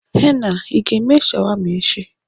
Henna l, Ị ga-eme shawarma echi?